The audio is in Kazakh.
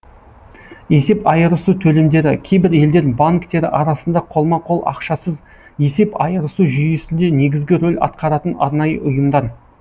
есеп айырысу төлемдері кейбір елдер банктері арасында қолма қол ақшасыз есеп айырысу жүйесінде негізгі рөл атқаратын арнайы ұйымдар